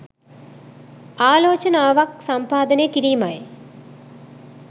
ආලෝචනාවක් සම්පාදනය කිරීමයි.